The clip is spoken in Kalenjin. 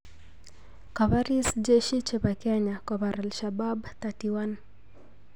Kaporis Jeshi chepo Kenya kopar Ashabaab 31